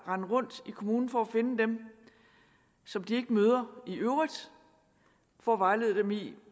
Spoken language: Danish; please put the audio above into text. rende rundt i kommunen for at finde dem som de ikke møder i øvrigt for at vejlede dem i